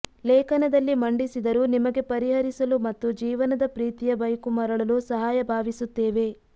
ಲೇಖನದಲ್ಲಿ ಮಂಡಿಸಿದರು ನಿಮಗೆ ಪರಿಹರಿಸಲು ಮತ್ತು ಜೀವನದ ಪ್ರೀತಿಯ ಬೈಕು ಮರಳಲು ಸಹಾಯ ಭಾವಿಸುತ್ತೇವೆ